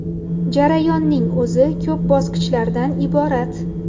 Jarayonning o‘zi ko‘p bosqichlardan iborat.